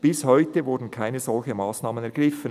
Bis heute wurden keine solchen Massnahmen ergriffen».